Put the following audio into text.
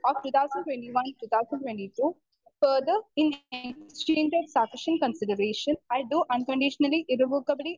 speaker 2 of two thousand twenty one two thousand twenty two for the estimated sufficient consideration I do unconditionally irrevocably